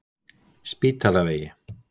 Spítalavegi